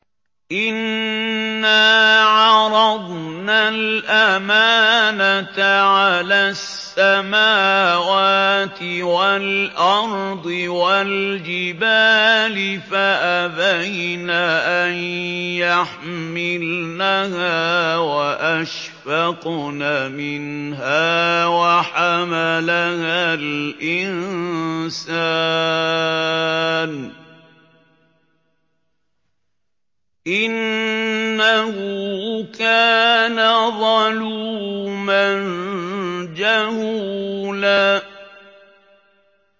إِنَّا عَرَضْنَا الْأَمَانَةَ عَلَى السَّمَاوَاتِ وَالْأَرْضِ وَالْجِبَالِ فَأَبَيْنَ أَن يَحْمِلْنَهَا وَأَشْفَقْنَ مِنْهَا وَحَمَلَهَا الْإِنسَانُ ۖ إِنَّهُ كَانَ ظَلُومًا جَهُولًا